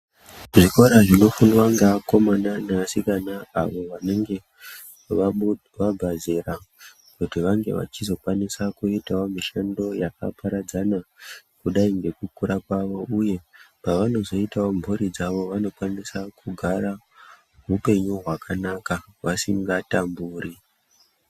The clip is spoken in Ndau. Zvikora zvinofundwa ngeakomana nevasikana avo vanenge vabva zera kuti vange vachizokwanisa kuitawo mishando yakaparadzana kudai ngekukura kwavo uye pavanozoitawo mburi dzawo vanokwanisa kugara upenyu hwakanaka vasingatamburi.